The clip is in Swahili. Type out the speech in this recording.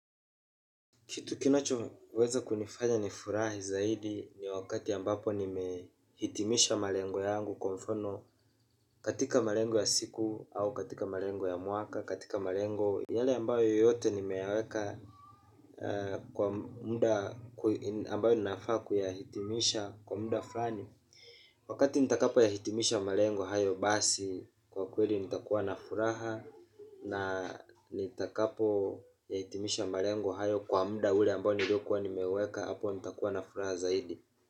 Kitu kinachoweza kunifanya ni furahi zaidi ni wakati ambapo nimehitimisha malengo yangu kwa mfano katika malengo ya siku au katika malengo ya mwaka katika malengo yale ambayo yote nimeyaweka kwa muda ambayo nafa kuyahitimisha kwa muda fulani. Wakati nitakapo yahitimisha malengo hayo basi kwa kweli nitakuwa na furaha na nitakapo yahitimisha malengo hayo kwa mda ule ambao nilio kuwa nimeweka hapo nitakuwa na furaha zaidi.